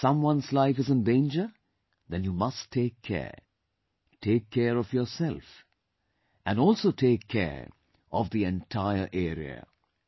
If someone's life is in danger then you must take care; take care of yourself, and also take care of the entire area